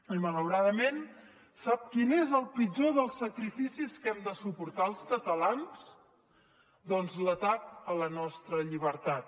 i malauradament sap quin és el pitjor dels sacrificis que hem de suportar els catalans doncs l’atac a la nostra llibertat